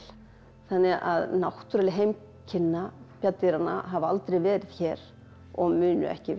þannig að náttúruleg heimkynni bjarndýranna hafa aldrei verið hér og munu ekki vera